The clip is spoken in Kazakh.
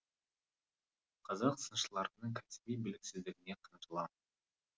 қазақ сыншыларының кәсіби біліксіздігіне қынжылам